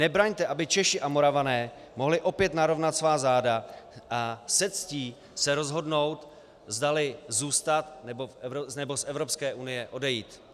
Nebraňte, aby Češi a Moravané mohli opět narovnat svá záda a se ctí se rozhodnout, zdali zůstat, nebo z Evropské unie odejít.